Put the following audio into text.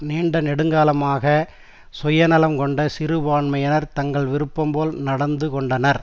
நீண்ட நெடுங்காலமாக சுயநலம் கொண்ட சிறுபான்மையினர் தங்கள் விருப்பம்போல் நடந்து கொண்டனர்